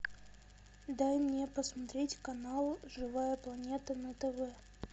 дай мне посмотреть канал живая планета на тв